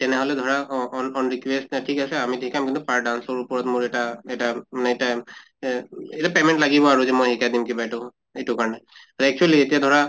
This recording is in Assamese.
তেনেহʼলে ধৰা অহ on request ঠিক আছে আমি শিকাম কিন্তু per dance ৰ ওপৰত মোৰ এটা এটা অহ এটা payment লাগিব আৰু যে মই শিকাই দিম কিবা এইটো এইটো কাৰণে । ত actually এতিয়া ধৰা